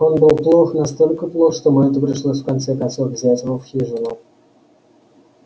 он был плох настолько плох что мэтту пришлось в конце концов взять его в хижину